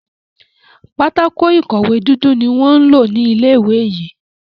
pátákó ìkọ̀wé dúdú ní wón ló ní ilé ìwé yí.